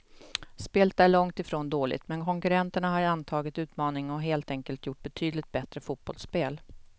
Spelet är långt ifrån dåligt, men konkurrenterna har antagit utmaningen och helt enkelt gjort betydligt bättre fotbollsspel.